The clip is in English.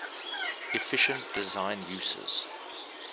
efficient design uses